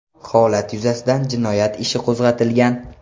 Holat yuzasidan jinoyat ishi qo‘zg‘atilgan.